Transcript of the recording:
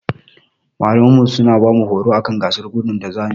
Malamanmu suna bamu horo akan gasar gudu da zamuyi.